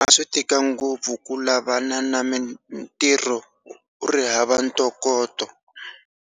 A swi tika ngopfu ku lavana na mintirho u ri hava ntokoto.